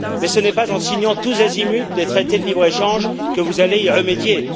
Mais ce n'est pas en signant tous azimuts des traités de libre échange que vous allez y remédier.